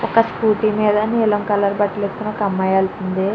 ఒక స్కూటి మీద నీలం కలర్ బట్టలు వేసుకున్న ఒక అమ్మయి వెల్తుంది.